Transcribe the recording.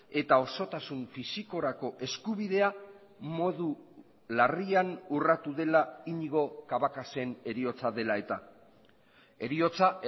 eta osotasun fisikorako eskubidea modu larrian urratu dela iñigo cabacasen heriotza dela eta heriotza